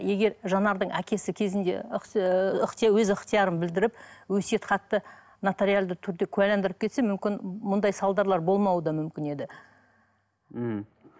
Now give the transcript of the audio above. егер жанардың әкесі кезінде өз ыхтиярын білдіріп өсиет хатты нотариалды түрде куәландырып кетсе мүмкін мұндай салдарлар болауы да мүмкін еді мхм